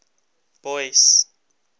boyce